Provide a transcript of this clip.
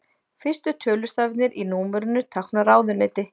Fyrstu tveir tölustafirnir í númerinu tákna ráðuneyti.